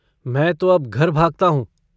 मैं तो अब घर भागता हूँ।